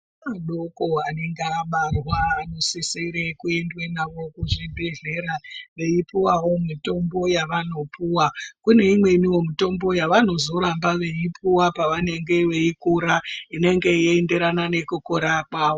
Vana vadoko vanenge vabarwa vanosisire kuendwa navo kuzvibhedhlera veyipuwavo mitombo yavanopiwa. Kune imwewo mitombo yavanozoramba veipuwa pavanenge veikura inenge yeenderana nokukura kwavo.